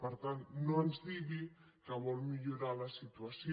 per tant no ens digui que vol millorar la situació